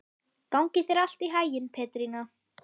Gangi þér allt í haginn, Petrína.